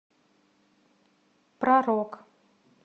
про рок